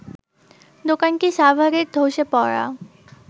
দোকানটি সাভারের ধ্বসে পড়া